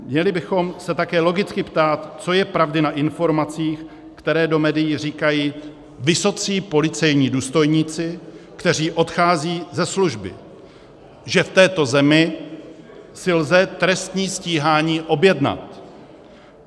Měli bychom se také logicky ptát, co je pravdy na informacích, které do médií říkají vysocí policejní důstojníci, kteří odcházejí ze služby, že v této zemi si lze trestní stíhání objednat.